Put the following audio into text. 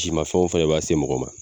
Ci mafɛnw fɛnɛ de b'a se mɔgɔ ma